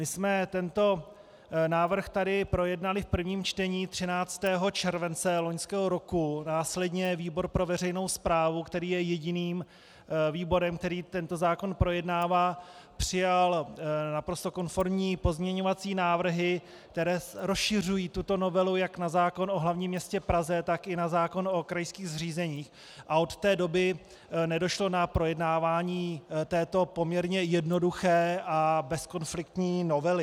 My jsme tento návrh tady projednali v prvém čtení 13. července loňského roku, následně výbor pro veřejnou správu, který je jediným výborem, který tento zákon projednává, přijal naprosto konformní pozměňovací návrhy, které rozšiřují tuto novelu jak na zákon o hlavním městě Praze, tak i na zákon o krajských zřízeních, a od té doby nedošlo k projednávání této poměrně jednoduché a bezkonfliktní novely.